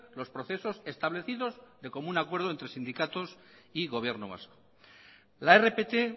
los procesos establecidos de común acuerdo entre sindicatos y gobierno vasco la rpt